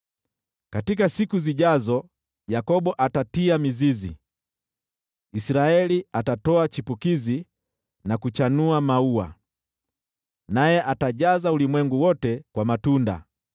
Katika siku zijazo, Yakobo atatia mizizi, Israeli atatoa chipukizi na kuchanua maua, naye atajaza ulimwengu wote kwa matunda.